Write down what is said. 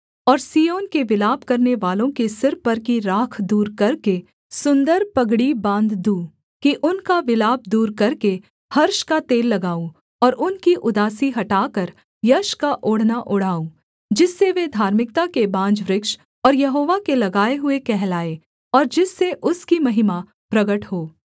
और सिय्योन के विलाप करनेवालों के सिर पर की राख दूर करके सुन्दर पगड़ी बाँध दूँ कि उनका विलाप दूर करके हर्ष का तेल लगाऊँ और उनकी उदासी हटाकर यश का ओढ़ना ओढ़ाऊँ जिससे वे धार्मिकता के बांज वृक्ष और यहोवा के लगाए हुए कहलाएँ और जिससे उसकी महिमा प्रगट हो